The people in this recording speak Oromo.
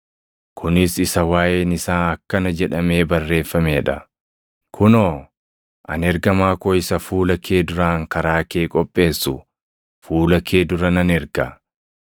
Kunis isa waaʼeen isaa akkana jedhamee barreeffamee dha: “ ‘Kunoo, ani ergamaa koo isa fuula kee duraan karaa kee qopheessu, fuula kee dura nan erga.’ + 7:27 \+xt Mil 3:1\+xt*